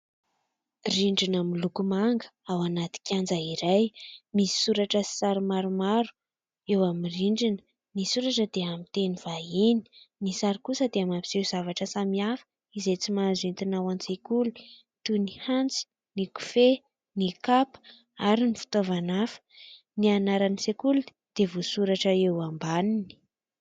Rindrina miloko manga ao anaty kianja iray misy soratra sy sary maromaro eo amin'ny rindrina. Ny soratra dia amin'ny teny vahiny, ny sary kosa dia mampiseho zavatra samihafa izay tsy mahazo entina ao an-tsekoly toy ny antsy, ny kofehy, ny kapa ary ny fitaovana hafa, ny anaran'ny sekoly dia voasoratra eo ambaniny.